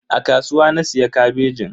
A kasuwa na siya kabejin.